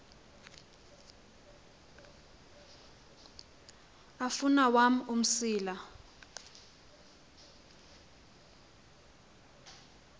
afun awam umsila